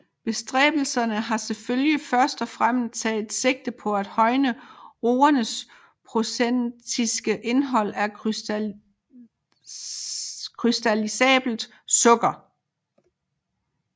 Bestræbelserne har selvfølgelig først og fremmest taget sigte på at højne roernes procentiske indhold af krystallisabelt sukker